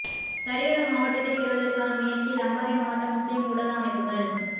கரையோர மாவட்டத்தைப் பெறுவதற்கான முயற்சியில் அம்பாறை மாவட்ட முஸ்லிம் ஊடக அமைப்புகள்